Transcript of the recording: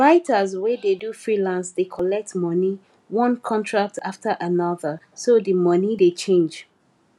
writers wey dey do freelance dey collect money one contract after another so the money dey change